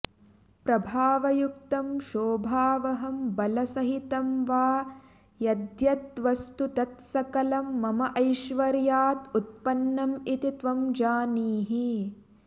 प्रभावयुक्तं शोभावहं बलसहितं वा यद्यत् वस्तु तत् सकलं मम ऐश्वर्यात् उत्पन्नम् इति त्वं जानीहि